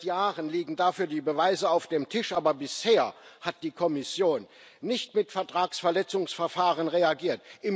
Seit Jahren liegen dafür die Beweise auf dem Tisch, aber bisher hat die Kommission nicht mit Vertragsverletzungsverfahren reagiert.